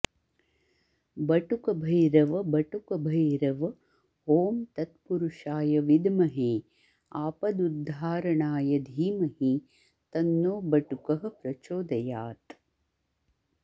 बटुकभैरव बटुकभैरव ॐ तत्पुरुषाय विद्महे आपदुद्धारणाय धीमहि तन्नो बटुकः प्रचोदयात्